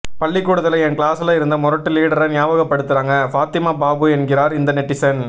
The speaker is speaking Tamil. பள்ளிக்கூடத்துல என் கிளாஸ்ல இருந்த முரட்டு லீடர ஞாபகப்படுத்துறாங்க ஃபாத்திமா பாபு என்கிறார் இந்த நெட்டிசன்